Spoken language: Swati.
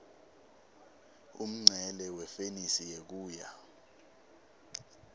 umncele wefenisi ngekuya